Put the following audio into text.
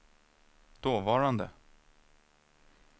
dåvarande